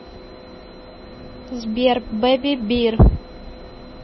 сбер бэбибир